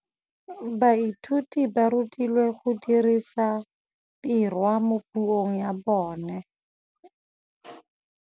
Baithuti ba rutilwe go dirisa tirwa mo puong ya bone.